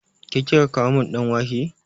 Ke kika kawo min ɗan wake?